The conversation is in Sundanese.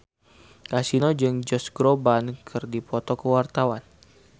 Kasino jeung Josh Groban keur dipoto ku wartawan